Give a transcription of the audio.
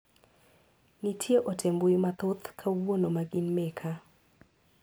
Nitie ote mbui mathoth kawuono ma gin meka.